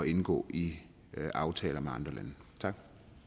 indgå i aftaler med andre lande tak